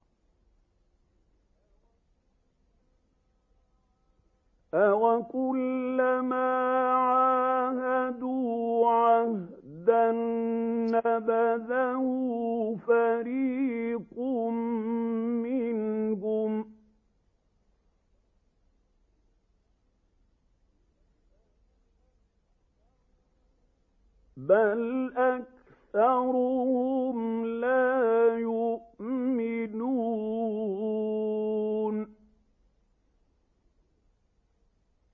أَوَكُلَّمَا عَاهَدُوا عَهْدًا نَّبَذَهُ فَرِيقٌ مِّنْهُم ۚ بَلْ أَكْثَرُهُمْ لَا يُؤْمِنُونَ